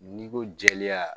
N'i ko jɛleya